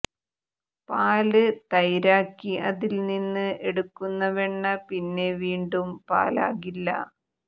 പാല് തൈരാക്കി അതില് നിന്ന് എടുക്കുന്ന വെണ്ണ പിന്നെ വീണ്ടും പാലാകില്ല